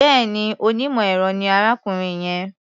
Bẹ́ẹ̀ni, onímọ̀-ẹ̀rọ ni arákùnrin yẹn.